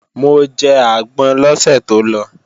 Mo jẹ àgbọn lọ́sẹ̀ tó lọ